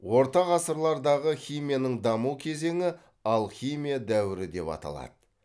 орта ғасырлардағы химияның даму кезені алхимия дәуірі деп аталады